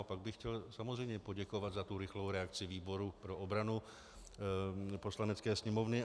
A pak bych chtěl samozřejmě poděkovat za tu rychlou reakci výboru pro obranu Poslanecké sněmovny.